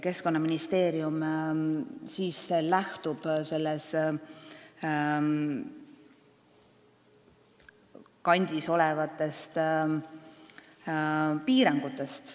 Keskkonnaministeerium siis lähtub selles kandis olevatest piirangutest.